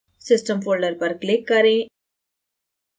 system folder पर click करें